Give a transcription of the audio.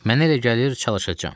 Mənə elə gəlir çalışacam.